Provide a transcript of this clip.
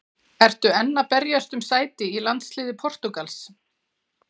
Ertu enn að berjast um sæti í landsliði Portúgals?